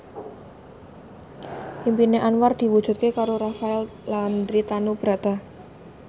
impine Anwar diwujudke karo Rafael Landry Tanubrata